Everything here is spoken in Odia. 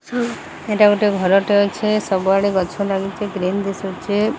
ଏଟା ଗୋଟେ ଘର ଟେ ଅଛେ ସବୁଆଡେ ଗଛ ଲାଗିଛି ଗ୍ରୀନ୍ ଦିଶୁଚେ।